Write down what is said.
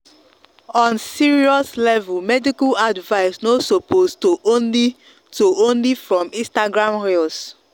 on serious level medical advice no suppose to only to only from instagram reels